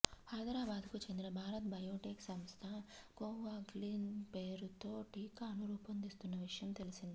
హైదరాబాద్కు చెందిన భారత్ బయోటెక్ సంస్థ కొవాగ్జిన్ పేరుతో టీకాను రూపొందిస్తున్న విషయం తెలిసిందే